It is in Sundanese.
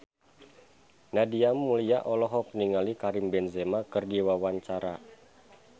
Nadia Mulya olohok ningali Karim Benzema keur diwawancara